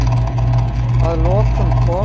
Að lokum kom